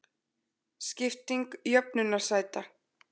Skipting jöfnunarsæta